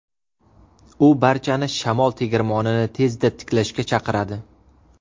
U barchani shamol tegirmonini tezda tiklashga chaqiradi.